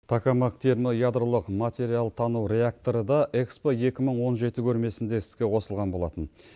токамак термоядролық материал тану реакторы да экспо екі мың он жеті көрмесінде іске қосылған болатын